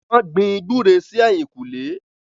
wọ́n gbin “gbúre” sí ẹ̀yìnkùlé